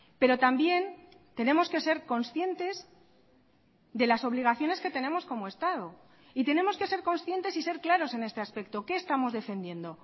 pero también tenemos que ser conscientes de las obligaciones que tenemos como estado y tenemos que ser conscientes y ser claros en este aspecto qué estamos defendiendo